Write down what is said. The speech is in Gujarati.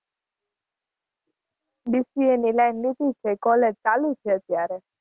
BCA ની line લીધી છે college ચાલુ છે અત્યારે.